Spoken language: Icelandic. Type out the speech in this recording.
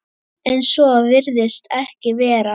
En svo virðist ekki vera.